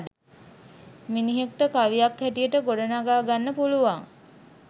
මිනිහෙක්ට කවියක් හැටියට ගොඩනඟා ගන්න පුළුවන්.